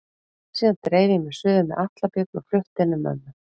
Síðan dreif ég mig suður með Atla Björn og flutti inn á mömmu.